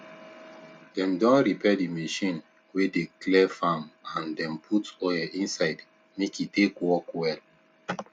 dem don repair d machine wey dey clear farm and dem put oil inside make e take work well